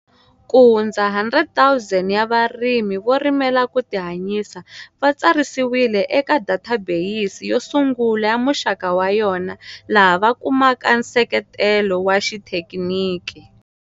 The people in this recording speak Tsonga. Kuhundza 100 000 ya varimi vo rimela ku tihanyisa va tsarisiwile eka databeyisi yo sungula ya muxaka wa yona laha va kumaka nseketelo wa xithekiniki.